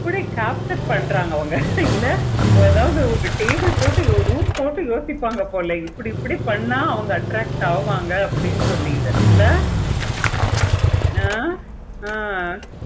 இப்படி torture பண்றாங்க அவங்க இல்ல அதாவது table போட்டு room போட்டு யோசிப்பாங்க போல இப்படி இப்படி பண்ண அவங்க attract அவங்க அப்படின்னு சொல்லிக்கிட்டு இல்ல ஆஹ் ஆஹ்